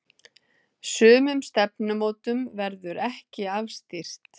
Sumum stefnumótum verður ekki afstýrt.